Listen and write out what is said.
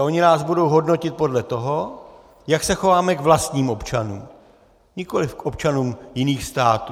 A oni nás budou hodnotit podle toho, jak se chováme k vlastním občanům, nikoliv k občanům jiných států.